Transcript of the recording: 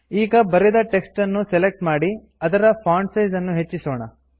ಈಗ ಬರೆದ ಟೆಕ್ಸ್ಟ್ ಅನ್ನು ಸೆಲೆಕ್ಟ್ ಮಾಡಿ ಅದರ ಫಾಂಟ್ ಸೈಜ್ ಅನ್ನು ಹೆಚ್ಚಿಸೋಣ